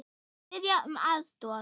Biðja um aðstoð!